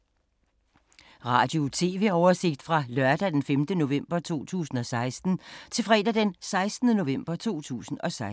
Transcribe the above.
Radio/TV oversigt fra lørdag d. 5. november 2016 til fredag d. 11. november 2016